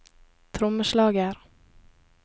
trommeslager